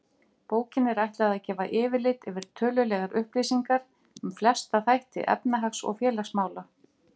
Bókinni er ætlað að gefa yfirlit yfir tölulegar upplýsingar um flesta þætti efnahags- og félagsmála.